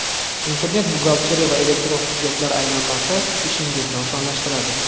Internet-buxgalteriya va elektron hujjatlar aylanmasi ishingizni osonlashtiradi.